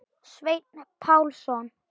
Sveinn Pálsson